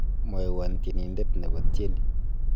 mwowon tienindet nebo tieni